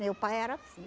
Meu pai era assim.